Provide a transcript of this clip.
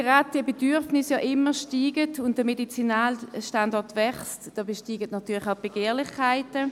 Weil die Bedürfnisse ständig zunehmen und der Medizinalstandort wächst, wachsen natürlich auch die Begehrlichkeiten.